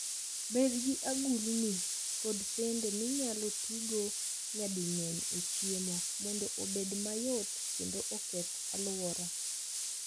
Bed gi agulini kod sende minyalo ti godo nyading'eny e chiemo, mondo obed mayot kendo oketh alwora.